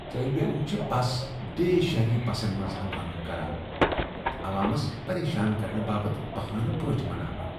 طٲلب علم چھ بس ڈے شہری بسن منٛز ہنگامہٕ کران تہٕ عوامس پریشان کرنہٕ باپت بہانہٕ پٲٹھۍ مناوان۔